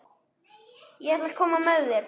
Ég ætla að koma með þér!